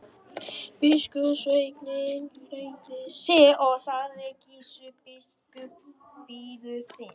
Biskupssveinninn hneigði sig og sagði: Gizur biskup bíður þín.